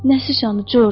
Nə sıçanı George?